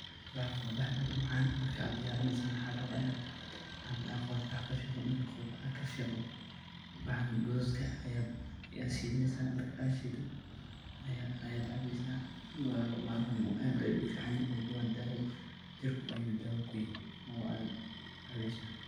bahalkan waa bahal aad umacaan markad diyarineyso na maxaa la rabaa inad qolofta kafiiqdo, markad qolfaha ad kafiqdo waxan gaduudka ah ayad shiideysa, marka ad shiido ayad cabeysa, maxalkan aad ayu ufican waa daawa jirkaga ayuu daawa kuyeh oo ad cabeysa